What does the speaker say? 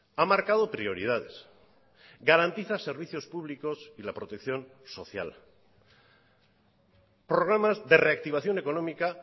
ha marcado prioridades garantiza servicios públicos y la protección social programas de reactivación económica